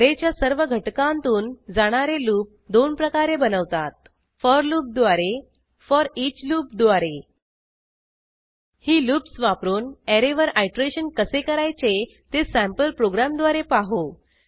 ऍरेच्या सर्व घटकांतून जाणारे लूप दोन प्रकारे बनवतात फोर लूप द्वारे फोरिच लूप द्वारे ही लूप्स वापरून ऍरेवर आयटरेशन कसे करायचे ते सँपल प्रोग्रॅमद्वारे पाहू